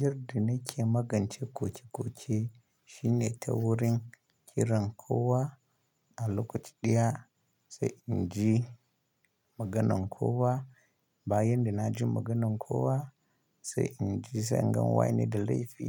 Yadda nake magance koke-koke shine ta wurin kiran kowa a lokaci ɗaya, sai in ji maganan kowa. Bayan da na ji maganan kowa sai in ji zangan wa ne da laifi,